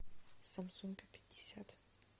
самсунг пятьдесят